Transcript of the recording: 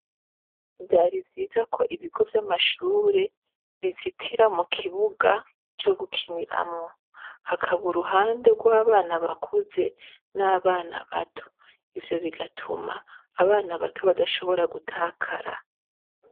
Vyari byiza ko ibigo vyamashure bizitira mukibuga co gukiniramwo hakaba uruhande twabana bakuze ,n'abana bato ivyo bigatuma abana bato badashobora gutakara.